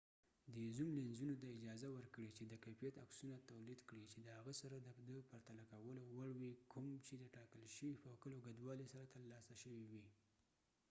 دې زوم لینزونو ته اجازه ورکړې چې د کیفیت عکسونه تولید کړي چې د هغه سره د د پرتله کولو وړ وي کوم چې د ټاکل شوي فوکل اوږدوالي سره ترلاسه شوي وي